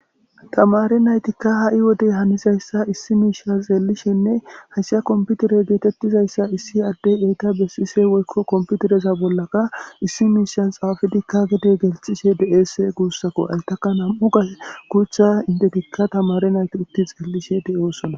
Tamari naytikka ha7i wodey hanizayssa issi miisha xeellishenne hayssa komputere geetettizayssa issi addey eyta besise woykko komputereza bollaka issi miishan xaafidikka gide gelxishe de7ese guussakko haystaka nam'u ga kuutha intetikka tamare nayti utti xeellishe de'osona.